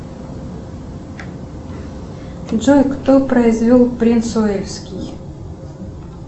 джой кто произвел принц уэльский